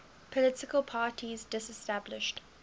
political parties disestablished